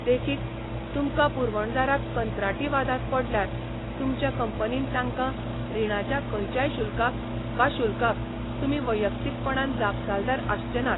देखीक, तुमकां पुरवणदाराक कंत्राटी वादांत पडल्यार, तुमच्या कंपनीन तांकां रिणाच्या खंयच्याय शुल्काक वा शुल्काक तुमी वैयक्तीकपणान जापसालदार आसचे नात.